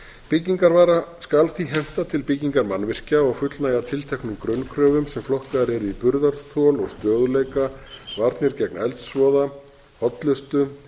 byggingarvara skal því henta til byggingar mannvirkja og fullnægja tilteknum grunnkröfum sem flokkaðar eru í burðarþol og stöðugleika varnir gegn eldsvoða hollustu